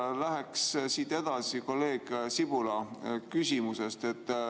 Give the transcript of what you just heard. Ma läheksin siit edasi kolleeg Sibula küsimusest.